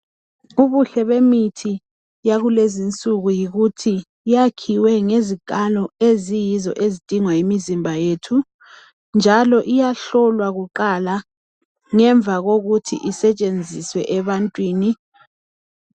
Ubuhle bemithi yakulezinsuku yikuthi yakhiwe ngezikalo eziyizo ezidingwa yimizimba yethu, njalo iyahlolwa kuqala ngemva kokuthi isetshenziswe ebantwini.